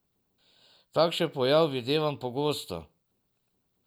Takšen pojav videvam pogosto.